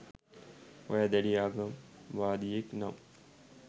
ඔයා දැඩි ආගම්වාදියෙක් නම්